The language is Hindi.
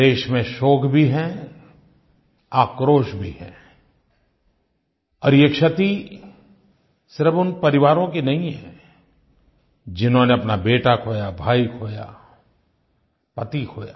देश में शोक भी है आक्रोश भी है और ये क्षति सिर्फ़ उन परिवारों की नहीं है जिन्होंने अपना बेटा खोया भाई खोया पति खोया